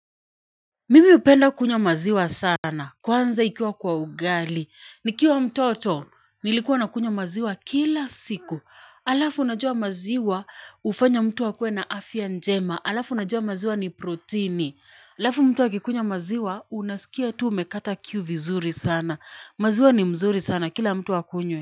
Mimi hupenda kunywa maziwa sana, kwanza ikiwa kwa ugali. Nikiwa mtoto, nilikuwa nakunywa maziwa kila siku. Alafu unajua maziwa, hufanya mtu akuwe na afya njema. Alafu unajua maziwa ni protini. Alafu mtu akikunya maziwa, unasikia tu umekata kiu vizuri sana. Mazua ni mzuri sana, kila mtu akunye.